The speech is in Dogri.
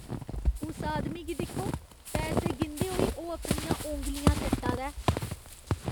उस आदमी गी दिक्खो। पैसे गिनदे होई ओह् अपनियां औंगलियां चट्टा दा ऐ।